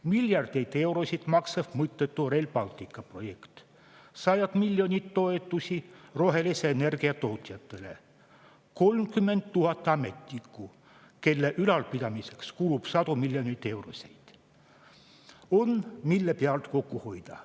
Miljardeid eurosid maksev mõttetu Rail Balticu projekt, sajad miljonid eurod toetusi rohelise energia tootjatele, 30 000 ametnikku, kelle ülalpidamiseks kulub sadu miljoneid eurosid – on, mille pealt kokku hoida.